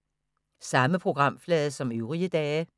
Samme programflade som øvrige dage